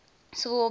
civil war began